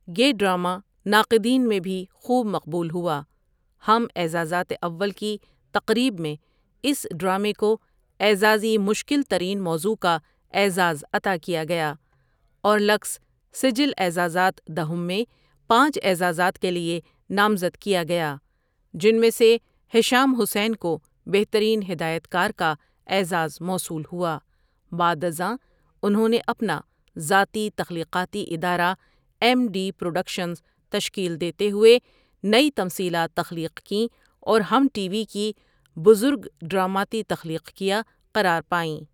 یہ ڈراما ناقدین میں بھی خُوب مقبُول ہوا ہم اعزازات اوّل کی تقریب میں اس ڈرامے کو اعزازی مُشکل ترِین موضوع کا اعزاز عطا کیا گیا اور لکس سِجٌل اعزازات دَہُم میں پانچ اعزازات کے لیے نامزد کیا گیا، جن میں سے حشّام حُسین کو بہترین ہدایت کار کا اعزاز موصول ہُوا بعد ازاں، اُنہوں نے اپنا ذاتی تخلیقاتی ادارہ ایم ڈی پروڈکشنز تشکیل دیتے ہوئے نے نئی تمثیلات تخلیق کیں اور ہم ٹی وی کی بُزُرگ ڈراماتی تخلیق کیا قرار پائیں۔